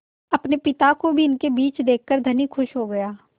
अपने पिता को भी इनके बीच देखकर धनी खुश हो गया